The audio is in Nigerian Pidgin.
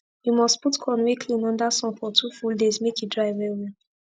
u must put corn wey clean under sun for 2 full days make e dry well well